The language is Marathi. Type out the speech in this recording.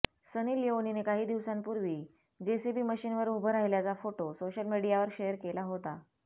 सनी लिओनीने काही दिवसांपूर्वी जेसीबी मशीनवर उभं राहिल्याचा फोटो सोशल मीडियावर शेअर केला होता